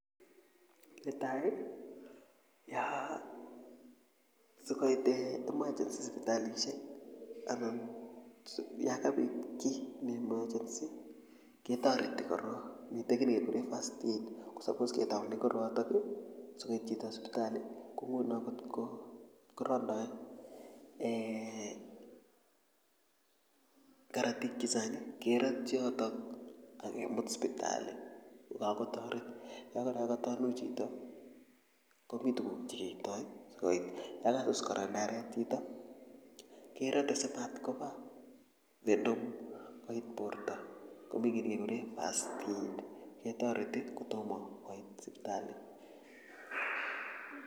Netai yoo sikoit emergency sipitalisiek anan yo kabit kiy ne emergency ketoreti korok mitei kiy nekekure first aid ako suppose ke taune kiotok sikoit chito sipitali nguno ngotko randoi eeh korotik chechang kerotyi yotok akemut sipitali kokakotoret yokatuanui chito komi tuguk chekeitoi yakasus kora ndaret chito kerote simatkoba venom koit borto komi kiy nekekure first aid ketoreti kotomo koit sipitali